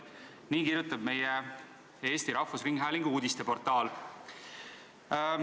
Nii kirjutab Eesti Rahvusringhäälingu uudisteportaal.